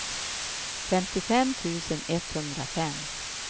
femtiofem tusen etthundrafem